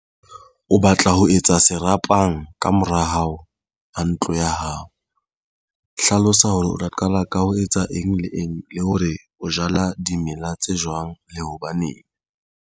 O batla ho etsa serapang kamora hao a ntlo ya hao. Hlalosa hore o tla qala ka ho etsa eng le eng le hore o jala dimela tse jwang le hobaneng.